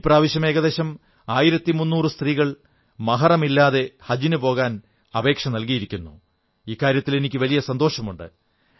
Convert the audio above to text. ഇപ്രാവശ്യം ഏകദേശം 1300 സ്ത്രീകൾ മഹഹ്റം ഇല്ലാതെ ഹജ്ജിനു പോകാൻ അപേക്ഷ നല്കിയിരിക്കുന്നു എന്നതിൽ എനിക്കു സന്തോഷമുണ്ട്